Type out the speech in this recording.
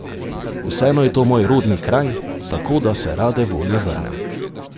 Vseeno je to moj rodni kraj, tako, da se rade volje vrnem.